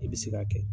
I bɛ se k'a kɛ